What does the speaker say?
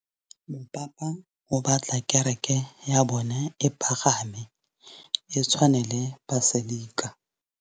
Mopapa o batla kereke ya bone e pagame, e tshwane le paselika.